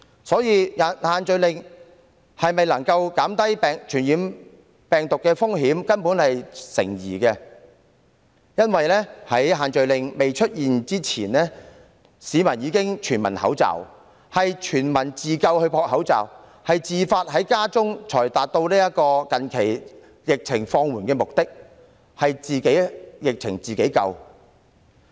所以，限聚令是否能夠減低傳染病毒的風險，根本成疑，因為在限聚令未推出之前，市民已全民戴口罩，自救搶購口罩，自發逗留家中，才能達到疫情於最近放緩的目的，可說是"自己疫情自己救"。